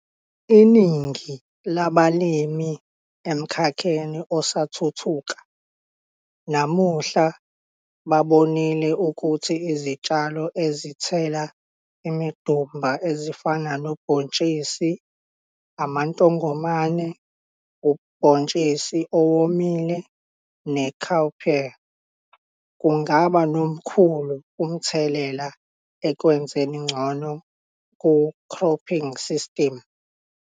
Iningi labalimi emkhakheni osathuthuka namuhla babonile ukuthi izitshalo ezithela imidumba, ezifana nobhontshisi isoya, amantongomane, ubhontshisi owomile ne-cowpea, kungaba nomkhulu umthelela ekwenzeni ngcono ku-khrophingi sistimu.